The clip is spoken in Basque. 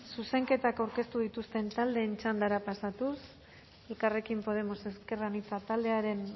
zuzenketak aurkeztu dituzten taldeen txandara pasatuz elkarrekin podemos ezker anitza taldearen